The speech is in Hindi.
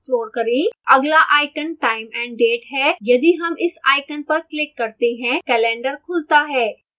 अगला icon time & date है यदि हम इस icon पर क्लिक करते हैं calendar खुलता है